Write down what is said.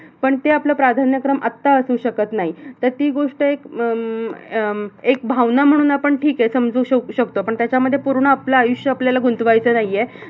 पण ते आपलं प्राधान्यक्रम आता असू शकत नाही. तर ती एक गोष्ट अह अं एक भावना म्हणून आपण ठीक आहे. समजू शक शकतो, पण त्याच्यामध्ये पूर्ण आपलं आयुष्य आपल्याला गुंतवायचं नाही आहे.